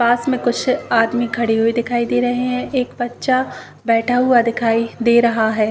पास में कुछ आदमी खड़े हुए दिखाई दे रहे हैं। एक बच्चा बैठा हुआ दिखाई दे रहा है।